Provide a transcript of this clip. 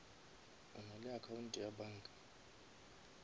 o nale account ya banka